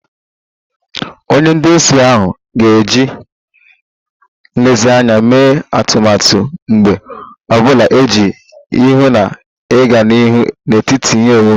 Onye nduzi ahụ ga-eji nlezianya mee atụmatụ mgbọ ọ bụla iji hụ na ịga n'ihu n'etiti ihe omume